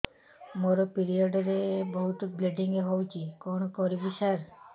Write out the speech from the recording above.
ମୋର ପିରିଅଡ଼ ରେ ବହୁତ ବ୍ଲିଡ଼ିଙ୍ଗ ହଉଚି କଣ କରିବୁ ସାର